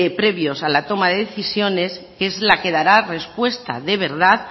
previos a la toma de decisiones que es la que dará respuesta de verdad